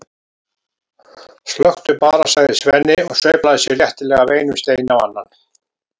stökktu bara, sagði Svenni og sveiflaði sér léttilega af einum steini á annan.